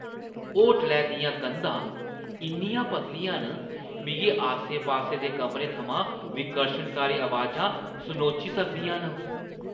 होटलै दियां कंधां इन्नियां पतलियां न, मिगी आसे-पासे दे कमरें थमां विकर्शनकारी अबाजां सनोची सकदियां न।